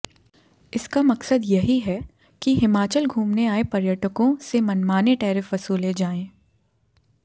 इसका मकसद यही है कि हिमाचल घूमने आए पर्यटकों से मनमाने टैरिफ वसूले जाएं